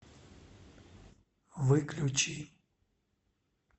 выключи